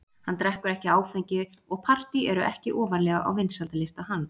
Hann drekkur ekki áfengi og partý eru ekki ofarlega á vinsældarlista hans.